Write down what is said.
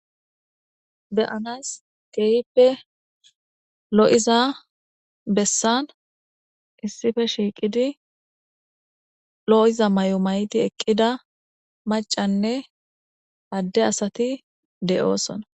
Beyanas geeyippe lo'iza bessan issife shiiqidi lo'iza may'o mayti eqqida macanne adde asati de'oosona.